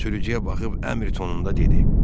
sürücüyə baxıb əmr tonunda dedi.